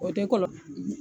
O te kɔlɔ